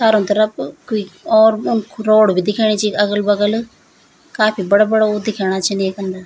चारो तरफ कुई और उन रोड भी दिखेणी छिन अगल-बगल काफी बड़ा-बड़ा वो दिखेणा छिन येक अन्दर।